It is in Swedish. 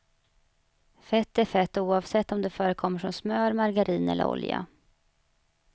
Fett är fett oavsett om det förekommer som smör, margarin eller olja.